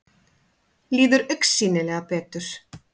Líður augsýnilega betur.